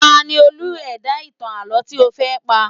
Ta ni Olú ẹ̀dá ìtàn àlọ́ tí ó fẹ́ pa?